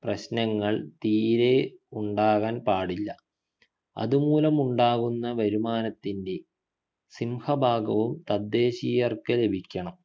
പ്രശ്നങ്ങൾ തീരെ ഉണ്ടാകാൻ പാടില്ല അതുമൂലമുണ്ടാകുന്ന വരുമാനത്തിൻ്റെ സിംഹഭാഗവും തദ്ദേശിയർക്ക് ലഭിക്കണം